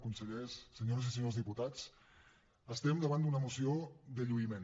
consellers senyores i senyors diputats estem davant d’una moció de lluïment